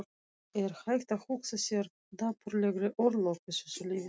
Er hægt að hugsa sér dapurlegri örlög í þessu lífi?